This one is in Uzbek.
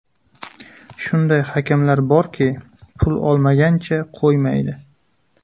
Shunday hakamlar borki, pul olmagancha qo‘ymaydi.